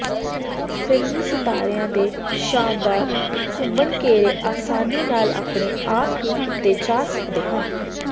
ਫ਼ਿਲਮੀ ਸਿਤਾਰਿਆਂ ਦੇ ਸ਼ਾਨਦਾਰ ਘੁੰਮਣਘੇਰੇ ਆਸਾਨੀ ਨਾਲ ਆਪਣੇ ਆਪ ਹੀ ਕੀਤੇ ਜਾ ਸਕਦੇ ਹਨ